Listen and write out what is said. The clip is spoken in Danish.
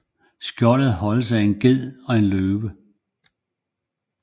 Skjoldet holdes af en ged og en løve